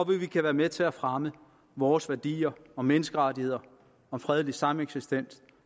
vi kan være med til at fremme vores værdier om menneskerettigheder om fredelig sameksistens